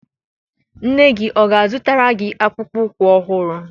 Nne gị ọ ga-azụtara gị akpụkpọ ụkwụ ọhụrụ?